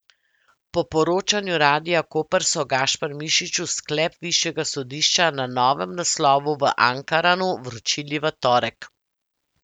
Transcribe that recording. Po poročanju Radia Koper so Gašpar Mišiču sklep višjega sodišča na novem naslovu v Ankaranu vročili v torek.